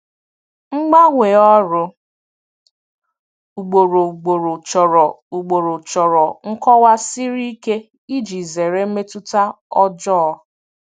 Mgbanwe ọrụ ugboro ugboro chọrọ ugboro chọrọ nkọwa siri ike iji zere mmetụta ọjọọ.